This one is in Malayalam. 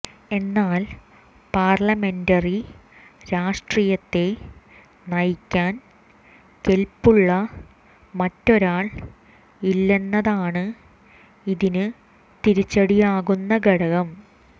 എന്നാൽ പാർലമെന്ററി രാഷ്ട്രീയത്തെ നയിക്കാൻ കെൽപ്പുള്ള മറ്റൊരാൾ ഇല്ലെന്നതാണ് ഇതിന് തിരിച്ചടിയാകുന്ന ഘടകം